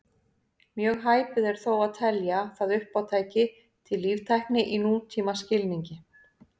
Mjög hæpið er þó að telja það uppátæki til líftækni í nútímaskilningi.